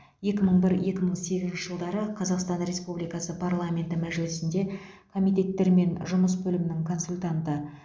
екі мың бір екі мың сегізінші жылдары қазақстан республикасы парламенті мәжілісінде комитеттермен жұмыс бөлімінің консультанты